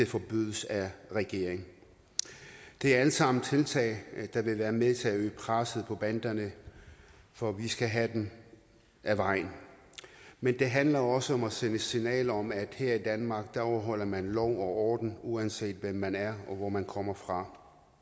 forbydes af regeringen det er alt sammen tiltag der vil være med til at øge presset på banderne for vi skal have dem af vejen men det handler også om at sende et signal om at her i danmark overholder man lov og orden uanset hvem man er og hvor man kommer fra